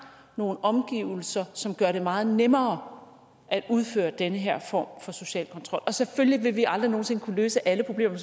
nogle omgivelser som gør det meget nemmere at udføre den her form for social kontrol selvfølgelig vil vi aldrig nogen sinde kunne løse alle problemer